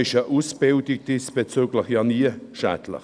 Deshalb schadet eine diesbezügliche Ausbildung nie.